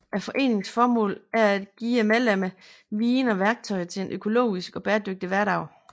Foreningens formål er at give medlemmerne viden og værktøjer til en økologisk og bæredygtig hverdag